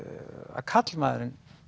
að karlmaðurinn